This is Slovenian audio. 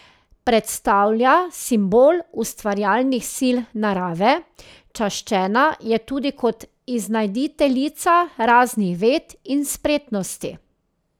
Predstavlja simbol ustvarjalnih sil narave, čaščena je tudi kot iznajditeljica raznih ved in spretnosti.